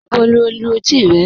Níbò ni o lú ètí rẹ?